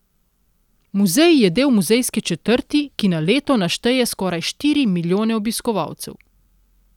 Muzej je del Muzejske četrti, ki na leto našteje skoraj štiri milijone obiskovalcev.